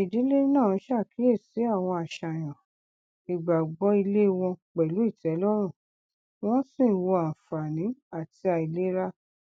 ìdílé náà ṣàkíyèsí àwọn àṣàyàn ìgbàgbọ ilé wọn pẹlú ìtẹlọrùn wọn sì wò àǹfààní àti àìlera